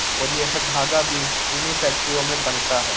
और यह धागा भी इन्हीं फैक्टरियों में बनता है।